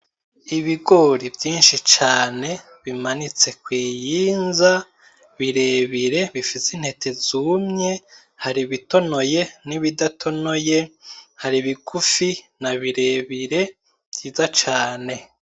Ibigori vyinshi cane bimanitse kw'iyinza birebire bifise intete zumye ;hari ibitonoye n'ibidatonoye, hari bigufi na birebire, vyiza cane.